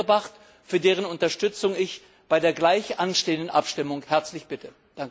1 eingebracht, für dessen Unterstützung ich bei der gleich anstehenden Abstimmung herzlich bitte.